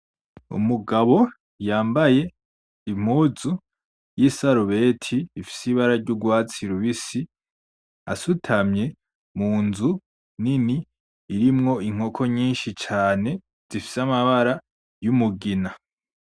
Umugabo yambaye impuzu y'isarubeti ifise ibara ry'urwatsi rubisi asutamye mu nzu nini irimwo inkoko nyinshi cane zifise amabara y'umugina.